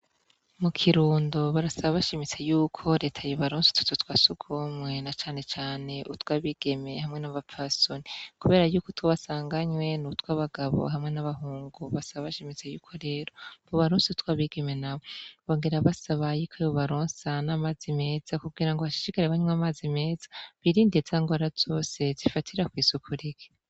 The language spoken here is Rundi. Mu kirundo barasaba bashimitse yuko reta yobaronsa utuzu twasugumwe na canecane utwabigeme hamwe n'abapfasoni, kubera yuko utwo basanganywe ni utwabagabo hamwe n'abahungu basaba bashimitse yuko rero bobaronsa utwabigeme nabo, bongera basaba yuko yobaronsa n'amazi meza kugira ngo hashishikare banywa amazi meza birinde za nrwara zose zifatira kw'isuku rike.